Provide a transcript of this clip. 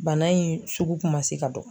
Bana in sugu kun ma se ka dɔn.